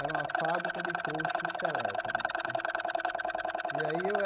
Era uma fábrica de cocha selétano né. E aí eu